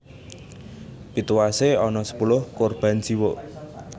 Pituwasé ana sepuluh korban jiwa